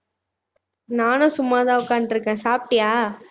நானும் சும்மாதான் உட்கார்ந்துட்டுருக்கேன் சாப்பிட்டியா